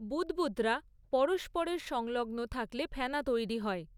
বুদ্বুদরা পরস্পরের সংলগ্ন থাকলে ফেনা তৈরী হয়।